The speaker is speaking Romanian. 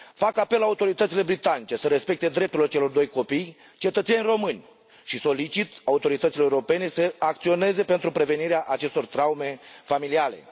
Fac apel la autoritățile britanice să respecte drepturile celor doi copii, cetățeni români, și solicit autorităților europene să acționeze pentru prevenirea acestor traume familiale.